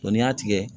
n'i y'a tigɛ